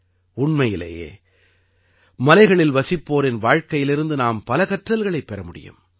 உண்மையிலேயே மலைகளில் வசிப்போரின் வாழ்க்கையிலிருந்து நாம் பல கற்றல்களைப் பெற முடியும்